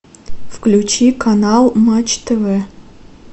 включи канал матч тв